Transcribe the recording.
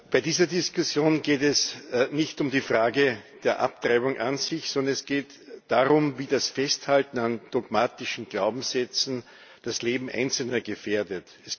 Bei dieser Diskussion geht es nicht um die Frage der Abtreibung an sich, sondern es geht darum, wie das Festhalten an dogmatischen Glaubenssätzen das Leben Einzelner gefährdet.